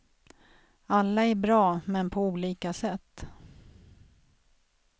Alla är bra, men på olika sätt.